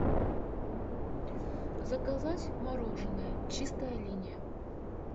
заказать мороженое чистая линия